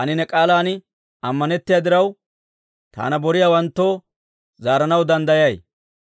Taani ne k'aalan ammanettiyaa diraw, taana boriyaawanttoo zaaranaw danddayay.